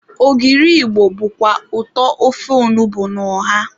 Ogiri Igbo bụkwa ụtọ ofe onugbu na ọha.